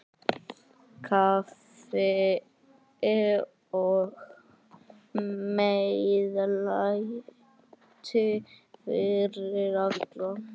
Kaffi og meðlæti fyrir alla.